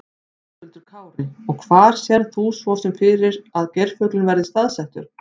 Höskuldur Kári: Og hvar sérð þú svo fyrir þér að geirfuglinn verði staðsettur?